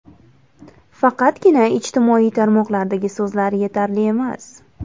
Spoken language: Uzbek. Faqatgina ijtimoiy tarmoqlardagi so‘zlar yetarli emas.